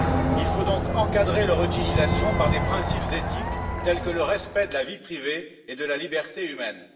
Il faut donc encadrer leur utilisation par des principes éthiques, tels que le respect de la vie privée et de la liberté humaine.